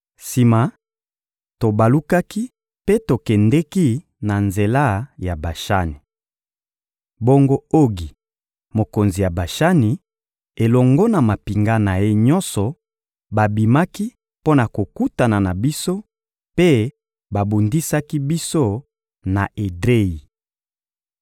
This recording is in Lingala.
Sima, tobalukaki mpe tokendeki na nzela ya Bashani. Bongo Ogi, mokonzi ya Bashani, elongo na mampinga na ye nyonso babimaki mpo na kokutana na biso mpe babundisaki biso na Edreyi.